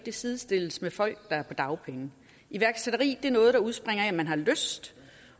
sidestilles med folk der er på dagpenge iværksætteri er noget der udspringer af at man virkelig har lyst